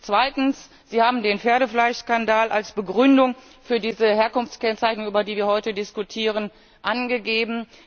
Zweitens Sie haben den Pferdefleischskandal als Begründung für diese Herkunftskennzeichnung, über die wir heute diskutieren, angegeben.